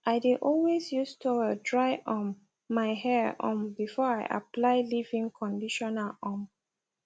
i dae always use toweldry um my hair um before i apply leavein conditioner um